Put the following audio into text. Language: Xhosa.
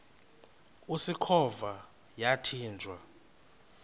usikhova yathinjw a